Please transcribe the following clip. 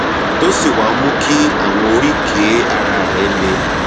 tó sì wá mú kí àwọn oríkèé ara rẹ le